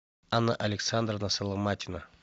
анна александровна соломатина